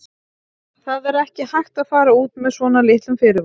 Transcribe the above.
Það er ekki hægt að fara út með svona litlum fyrirvara.